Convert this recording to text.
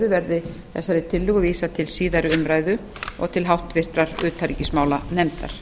verði þessari tillögu vísað til síðari umræðu og til háttvirtrar utanríkismálanefndar